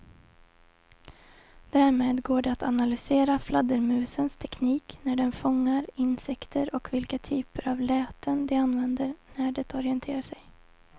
Därmed går det att analysera fladdermusens teknik när den fångar insekter och vilka typer av läten de använder när de orienterar sig.